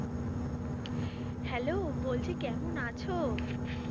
Hello বলছি কেমন আছো?